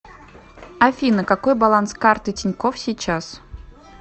афина какой баланс карты тинькофф сейчас